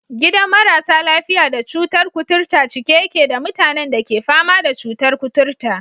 Gidan marasa lafiya da cutar kuturta cike yake da mutanen da ke fama da cutar kuturta?